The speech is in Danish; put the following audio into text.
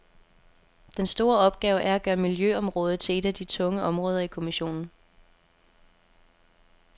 Den store opgave er at gøre miljøområdet til et af de tunge områder i kommissionen.